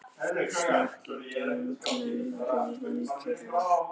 Slök í teignum hrífan kyrjar.